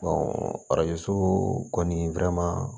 arajo so kɔni